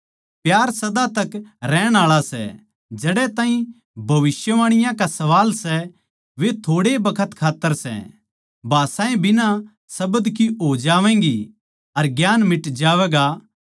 प्यार सदा तक रहण आळा सै जड़ै ताहीं भविष्यवाणियाँ का सवाल सै वे थोड़े ए बखत खात्तर सै भाषाएँ बिना शब्द की हो जावैंगी अर ज्ञान मिट जावैगा